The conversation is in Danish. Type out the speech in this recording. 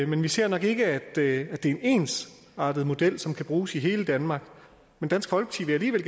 men vi ser nok ikke at det er en ensartet model som kan bruges i hele danmark men dansk folkeparti vil